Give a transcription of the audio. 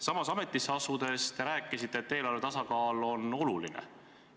Samas, ametisse asudes te rääkisisite, et eelarvetasakaal on oluline.